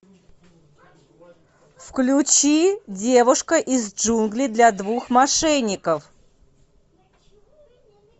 включи девушка из джунглей для двух мошенников